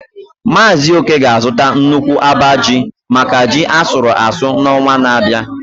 Mazị Oke ga-azụta nnukwu abaa ji maka ji asuru asu n’ọnwa na-abịa.